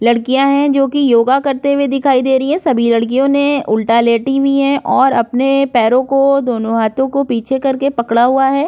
लड़कियां हैं जो कि योगा करते हुए दिखाई दे रही हैं सभी लड़कियों ने उल्टा लेटी हुई हैं और अपने पैरों को दोनों हाथों को पीछे करके पकड़ा हुआ है।